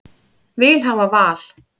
Vil hafa val